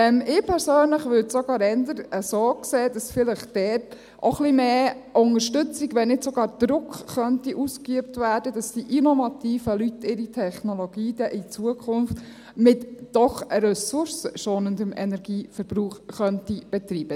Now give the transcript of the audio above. Ich persönlich würde es sogar eher so sehen, dass vielleicht dort auch ein wenig mehr Unterstützung, wenn nicht sogar Druck ausgeübt werden könnte, sodass die innovativen Leute ihre Technologie dann in Zukunft mit doch ressourcenschonendem Energieverbrauch betreiben können.